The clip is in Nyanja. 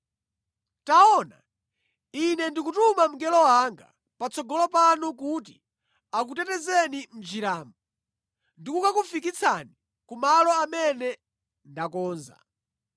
“Taona Ine ndikutuma mngelo wanga patsogolo panu kuti akutetezeni mʼnjiramo ndi kukakufikitsani ku malo amene ndakonza.